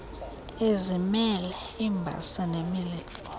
ezimele iimbasa nemilibo